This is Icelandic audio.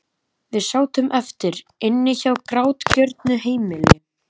Við sátum eftir- inni á grátgjörnu heimili.